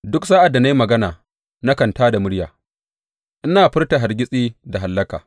Duk sa’ad da na yi magana, nakan tā da murya ina furta hargitsi da hallaka.